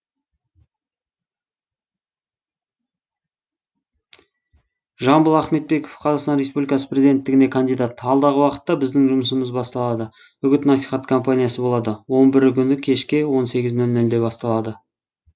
жамбыл ахметбеков қазақстан республикасы президенттігіне кандидат алдағы уақытта біздің жұмысымыз басталады үгіт насихат компаниясы болады он бірі күні кешкі он сегіз нөл нөлде басталады